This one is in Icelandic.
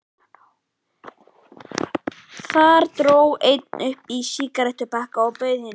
Þar dró einhver upp sígarettupakka og bauð hinum.